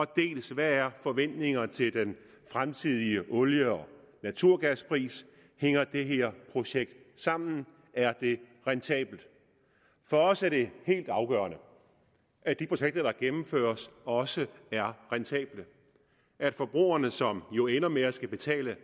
dels hvad der er forventningerne til den fremtidige olie og naturgaspris hænger det her projekt sammen er det rentabelt for os er det helt afgørende at de projekter der gennemføres også er rentable at forbrugerne som jo ender med at skulle betale